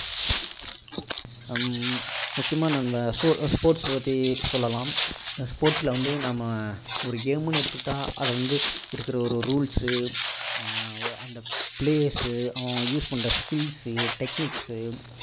ஆஹ் முக்கியமா நம்ம sports பற்றி சொல்லலாம் sports ல வந்து நம்ம ஒரு game ன்னு எடுத்துகிட்டா அதை வந்து இருக்கிற ஒரு rules சு ஆஹ் ஒரு அந்த players சு அவங்க பண்ற skills சு techniques சு